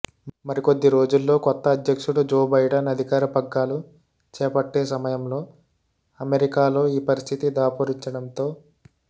మరికొద్ది రోజుల్లో కొత్త అధ్యక్షుడు జో బైడాన్ అధికార పగ్గాలు చేపట్టే సమయంలో అమెరికాలో ఈ పరిస్థితి దాపూరించడం తో